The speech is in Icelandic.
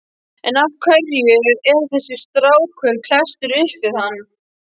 En af hverju er þessi strákur klesstur upp við hann?